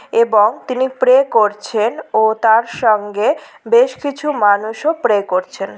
এবং তিনি প্রে করছেন ও তার সঙ্গে বেশ কিছু মানুষও প্রে করছেন ।